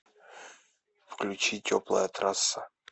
включи теплая трасса